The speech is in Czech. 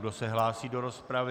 Kdo se hlásí do rozpravy?